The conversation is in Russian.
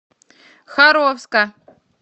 харовска